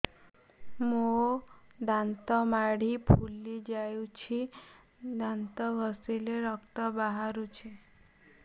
ମୋ ଦାନ୍ତ ମାଢି ଫୁଲି ଯାଉଛି ଦାନ୍ତ ଘଷିଲେ ରକ୍ତ ବାହାରୁଛି